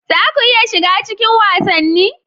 Za ku iya shiga cikin wasanni?